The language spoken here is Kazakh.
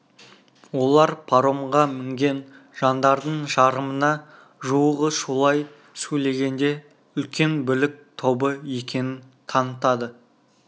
олар паромға мінген жандардың жарымына жуығы шулай сөйлегенде үлкен бүлік тобы екенін танытады